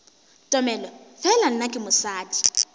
tomele fela nna ke mosadi